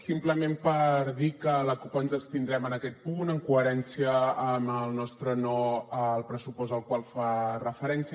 simplement per dir que la cup ens abstindrem en aquest punt en coherència amb el nostre no al pressupost al qual fa referència